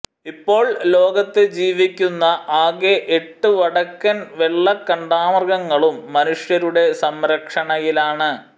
ഇപ്പോൾ ലോകത്ത് ജീവിക്കുന്ന ആകെ എട്ട് വടക്കൻ വെള്ളക്കാണ്ടാമൃഗങ്ങളും മനുഷ്യരുടെ സംരക്ഷണയിലാണ്